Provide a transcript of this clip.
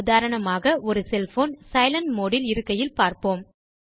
உதாரணமாக ஒரு cell phone silent mode இல் இருக்கையில் பார்ப்போம்